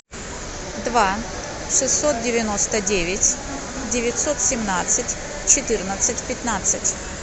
два шестьсот девяносто девять девятьсот семнадцать четырнадцать пятнадцать